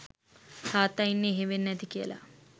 තාත්තා ඉන්නේ එහෙ වෙන්න ඇති කියලා